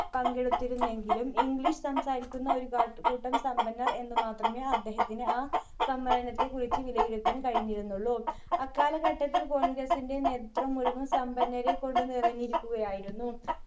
പങ്കെടുത്തിരുന്നെങ്കിലും english സംസാരിക്കുന്ന ഒരു പാ കൂട്ടം സമ്പന്നർ എന്ന് മാത്രമേ അദ്ദേഹത്തിനെ ആ സമ്മേളനത്തിൽ വിളിച്ചു വിലയിരുത്താൻ കഴിഞ്ഞിരുന്നുള്ളൂ അക്കാലഘട്ടത്തിൽ congress ന്റെ നേത്രത്വം മുഴുവൻ സമ്പന്നരെ കൊണ്ട് നിറഞ്ഞിരിക്കുകയായിരുന്നു.